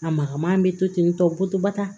A magama bɛ to ten tɔ poto ba ta